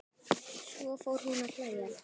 Svo fór hún að hlæja.